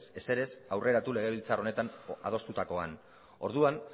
ezer ez aurreratu legebiltzar honetan adostutakoan orduan